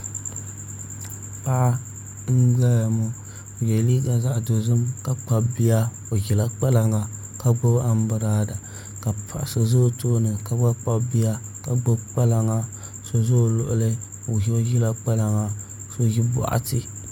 Paɣa n ʒɛya ŋo o yɛ liiga zaɣ dozim ka kpabi bia o ʒila kpalaŋa ka gbubi anbirala ka paɣa so ʒɛ o tooni kagba kpabi bia ka gbubi kpalaŋa so ʒɛ o luɣuli ka ʒi kpalaŋa ka so ʒi boɣati